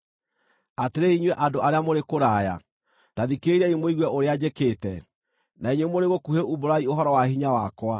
Atĩrĩrĩ inyuĩ andũ arĩa mũrĩ kũraya, ta thikĩrĩriai mũigue ũrĩa njĩkĩte; na inyuĩ mũrĩ gũkuhĩ umbũrai ũhoro wa hinya wakwa.